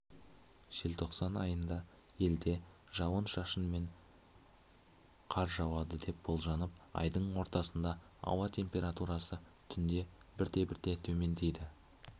желтоқсан айында елде жауын-шашын және қар жауады деп болжанып айдың ортасында ауа температурасы түнде бірте-бірте төмендейді